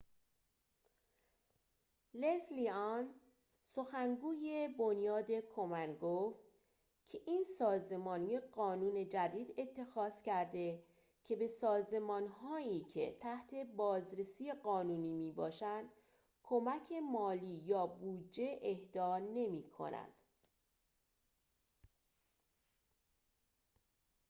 لزلی آن سخنگوی بنیاد کومن گفت که این سازمان یک قانون جدید اتخاذ کرده که به سازمان‌هایی که تحت بازرسی قانونی می‌باشند کمک مالی یا بودجه اهدا نمی‌کند